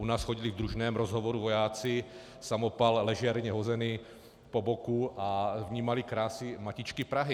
U nás chodili v družném rozhovoru vojáci, samopal ležérně hozený po boku, a vnímali krásy matičky Prahy.